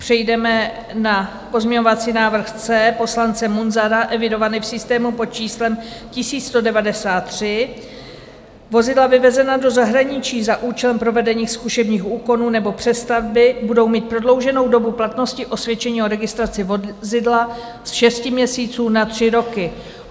Přejdeme na pozměňovací návrh C poslance Munzara, evidovaný v systému pod číslem 1193, vozidla vyvezená do zahraničí za účelem provedení zkušebních úkonů nebo přestavby budou mít prodlouženou dobu platnosti osvědčení o registraci vozidla ze 6 měsíců na 3 roky.